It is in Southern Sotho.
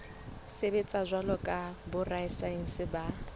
sebetsa jwalo ka borasaense ba